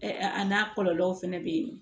a n'a kɔlɔlɔw fana bɛ yen